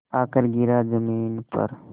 आकर गिरा ज़मीन पर